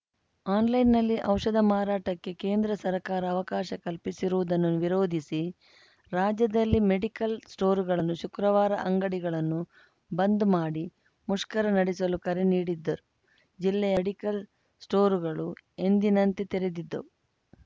ಆನ್‌ಲೈನ್‌ನಲ್ಲಿ ಔಷಧ ಮಾರಾಟಕ್ಕೆ ಕೇಂದ್ರ ಸರಕಾರ ಅವಕಾಶ ಕಲ್ಪಿಸಿರುವುದನ್ನು ವಿರೋಧಿಸಿ ರಾಜ್ಯದಲ್ಲಿ ಮೆಡಿಕಲ್‌ ಸ್ಟೋರ್‌ಗಳು ಶುಕ್ರವಾರ ಅಂಗಡಿಗಳನ್ನು ಬಂದ್‌ ಮಾಡಿ ಮುಷ್ಕರ ನಡೆಸಲು ಕರೆ ನೀಡಿದ್ದರೂ ಜಿಲ್ಲೆಯ ಡಿಕಲ್‌ ಸ್ಟೋರ್‌ಗಳು ಎಂದಿನಂತೆ ತೆರೆದಿದ್ದವು